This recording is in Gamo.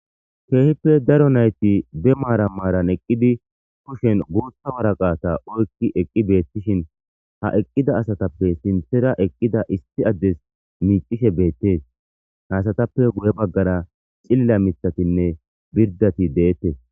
keehippe daro nayti be maara maaran eqqidi kushen guutha waraqata oykki eqqi beettishin ha eqqida asatappe sinthera eqqida issi addes miicishe beettees hasatappe guye baggara cilla mitatinne birdati deettes